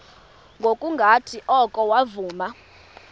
ngokungathi oko wavuma